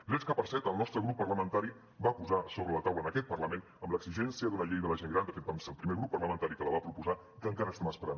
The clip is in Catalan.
drets que per cert el nostre grup parlamentari va posar sobre la taula en aquest parlament amb l’exigència d’una llei de la gent gran de fet vam ser el primer grup parlamentari que la va proposar que encara estem esperant